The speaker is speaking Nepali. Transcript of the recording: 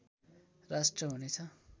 राष्ट्र हुनेछ